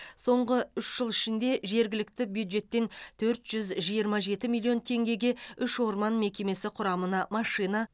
соңғы үш жыл ішінде жергілікті бюджеттен төрт жүз жиырма жеті миллион теңгеге үш орман мекемесі құрамына машина